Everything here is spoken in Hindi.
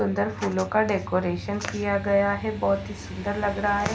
अंदर फूलों का डेकोरेशन किया गया है बहुत ही सुंदर लग रहा है।